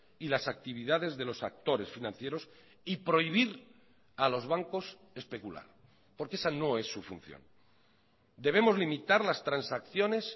y las actividades de los actores financieros y prohibir a los bancos especular porque esa no es su función debemos limitar las transacciones